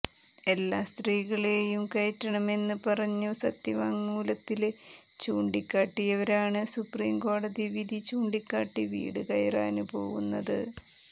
എല്ലാ സ്ത്രീകളെയും കയറ്റണമെന്ന് പറഞ്ഞ് സത്യവാങ്മൂലത്തില് ചൂണ്ടിക്കാട്ടിയവരാണ് സുപ്രീം കോടതി വിധി ചൂണ്ടിക്കാട്ടി വീട് കയറാന് പോവുന്നത്